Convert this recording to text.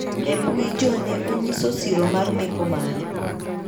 E mbui jo ne onyiso siro mar meko mare.